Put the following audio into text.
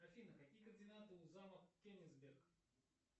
афина какие координаты у замок кенигсберг